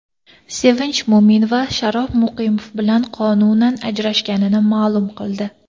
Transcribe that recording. Sevinch Mo‘minova Sharof Muqimov bilan qonunan ajrashganini ma’lum qildi .